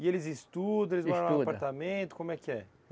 E eles estudam. Estuda. apartamento, como é que é?